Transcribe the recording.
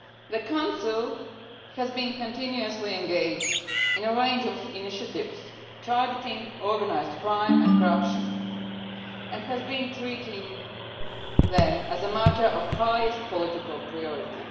The Council has been continuously engaged in a range of initiatives, targeting organised crime and corruption, and has been treating them as a matter of the highest political priority.